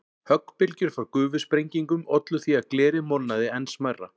Höggbylgjur frá gufusprengingum ollu því að glerið molnaði enn smærra.